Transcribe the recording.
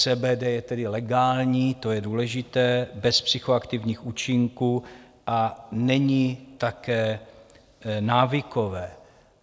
CBD je tedy legální - to je důležité - bez psychoaktivních účinků a není také návykové.